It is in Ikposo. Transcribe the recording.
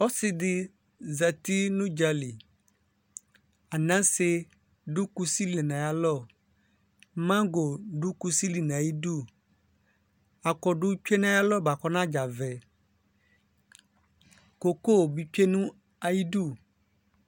Osidi zati nʋ ʋdzali anase dʋ kusili nʋ ayalɔ mago dʋ kusili nʋ ayidʋ akɔdʋ tsue nʋ ayʋ alɔ bʋakʋ ɔnadzavɛ koko bi tsuenʋ ayidʋ